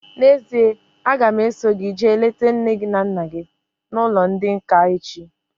N'ezie, a ga m eso gị jee leta nne na nna gị n'ụlọ ndị nká echi